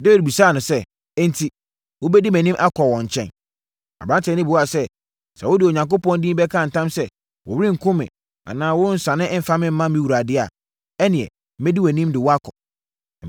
Dawid bisaa no sɛ, “Enti, wobɛdi mʼanim akɔ wɔn nkyɛn?” Aberanteɛ no buaa sɛ, “Sɛ wode Onyankopɔn din bɛka ntam sɛ worenkum me anaa worensane mfa me mma me wura deɛ a, ɛnneɛ, mɛdi wʼanim de wo akɔ.”